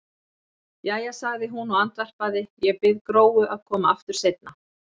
Jæja, sagði hún og andvarpaði, ég bið Gróu að koma aftur seinna.